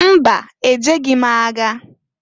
Mba! E jeghi m agha.